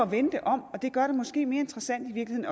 vende det om og det gør det måske i virkeligheden mere interessant